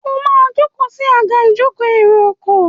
o ma joko sí Àga ìjókòó èrò ọkọ̀.